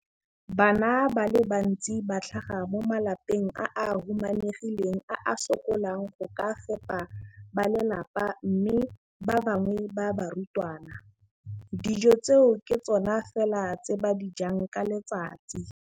Bana ba le bantsi ba tlhaga mo malapeng a a humanegileng a a sokolang go ka fepa ba lelapa mme ba bangwe ba barutwana, dijo tseo ke tsona fela tse ba di jang ka letsatsi.